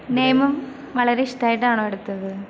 നിയമം വളരെ ഇഷ്ടമായിട്ടാണോ എടുത്തത്?